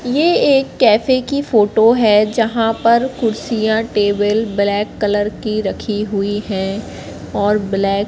ये एक कैफे की फोटो है जहां पर कुर्सियां टेबल ब्लैक कलर की रखी हुई हैं और ब्लैक --